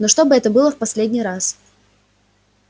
но чтобы это было в последний раз